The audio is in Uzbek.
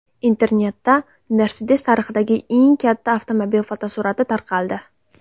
Internetda Mercedes tarixidagi eng katta avtomobil fotosurati tarqaldi.